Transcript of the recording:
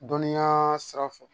Dɔnniya sira fɛ